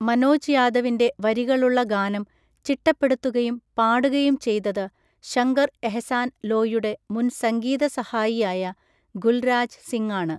മനോജ് യാദവിന്‍റെ വരികളുള്ള ഗാനം ചിട്ടപ്പെടുത്തുകയും പാടുകയും ചെയ്തത് ശങ്കർ എഹ്സാൻ ലോയ്യുടെ മുൻ സംഗീത സഹായിയായ ഗുൽരാജ് സിങ്ങാണ്.